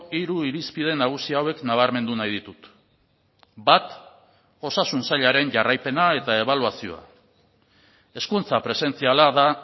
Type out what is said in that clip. hiru irizpide nagusi hauek nabarmendu nahi ditut bat osasun sailaren jarraipena eta ebaluazioa hezkuntza presentziala da